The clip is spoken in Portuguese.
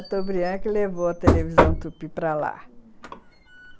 Chateaubriand é que levou a televisão Tupi para lá, uhum.